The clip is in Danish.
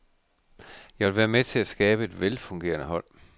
Jeg vil være med til at skabe et velfungerende hold.